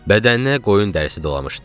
Bədəninə qoyun dərisi dolamışdı.